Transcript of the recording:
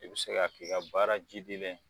I bɛ se k'a k'i ka baara jidilen ye